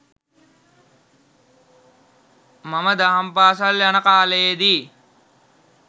මම දහම් පාසල් යන කාලයේදී